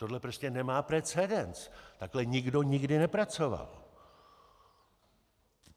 Tohle prostě nemá precedens, takhle nikdo nikdy nepracoval.